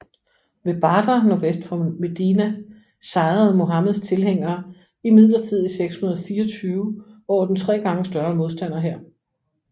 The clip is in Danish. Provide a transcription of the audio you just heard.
Ved Badr nordvest for Medina sejrede Muhammeds tilhængere imidlertid i 624 over den tre gange større modstanderhær